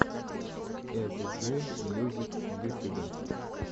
эсджи мьюзик в ютюбе